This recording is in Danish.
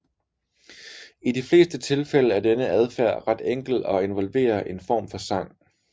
I de fleste tilfælde er denne adfærd ret enkel og involverer en form for sang